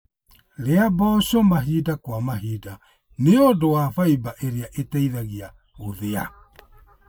Rĩa mboco mahinda kwa mahinda nĩũndu wa baimba ĩrĩa ĩteithagia gũthĩa